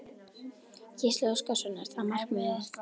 Gísli Óskarsson: Er það markmiðið?